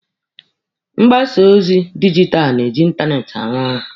Mgbasa ozi dijitalụ na-eji ịntanetị arụ ọrụ.